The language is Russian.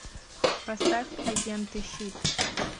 поставь агенты щит